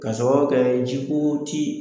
Ka sababu kɛ ji ko